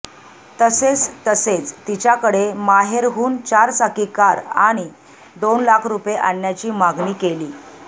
तसेच तसेच तिच्याकडे माहेरहून चारचाकी कार आणि दोन लाख रुपये आणण्याची मागणी केली